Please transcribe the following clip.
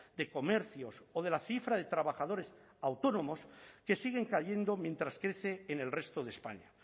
de comercios o de la cifra de trabajadores autónomos que siguen cayendo mientras crece en el resto de españa